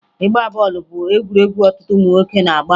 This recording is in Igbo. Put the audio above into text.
Ịgba bọọlụ bụ egwuregwu ọtụtụ ụmụ nwoke na-agba